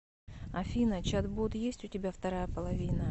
афина чат бот есть у тебя вторая половина